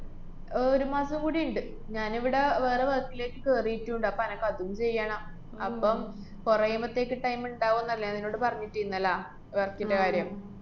ആഹ് ഒരു മാസം കൂടിയ്ണ്ട്. ഞാനിവിടെ വേറെ work ലേക്ക് കേറീട്ടുണ്ട്. അപ്പ അനക്ക് അതും ചെയ്യണം. അപ്പം കൊറേമ്പത്തേയ്ക്ക് time ഇണ്ടാവൂന്നല്ലേ ഞാന്‍ നിന്നോട് പറഞ്ഞിട്ടിന്നലാ, work ന്‍റെ കാര്യം?